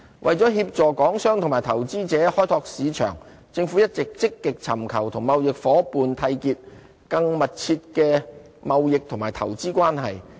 為協助港商及投資者開拓市場，政府一直積極尋求與貿易夥伴締結更密切的貿易及投資關係。